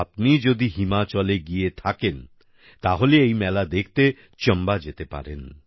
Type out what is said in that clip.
আপনি যদি হিমাচলে গিয়ে থাকেন তাহলে এই মেলা দেখতে চাম্বা যেতে পারেন